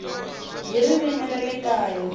hi ririmi ra le kaya